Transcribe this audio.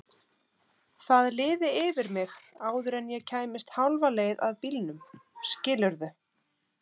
Það liði yfir mig áður en ég kæmist hálfa leið að bílnum, skilurðu?